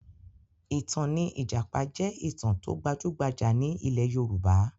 Ìtàn ní ìjàpá jẹ́ ìtàn tó gbajúgbajà ní ilẹ̀ Yorùbá